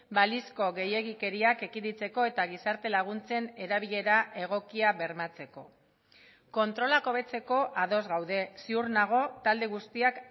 balizko gehiegikeriak ekiditeko eta gizarte laguntzen erabilera egokia bermatzeko kontrolak hobetzeko ados gaude ziur nago talde guztiak